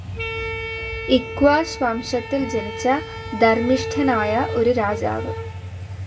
ഇക്ഷ്വാക് വംശത്തിൽ ജനിച്ച ധർമ്മിഷ്ഠനായ ഒരു രാജാവ്.